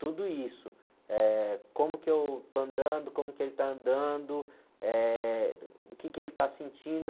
Tudo isso, eh, como que eu estou andando, como que ele está andando, eh, o que ele está sentindo.